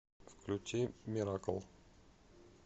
включи миракл